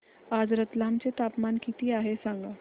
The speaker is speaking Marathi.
आज रतलाम चे तापमान किती आहे सांगा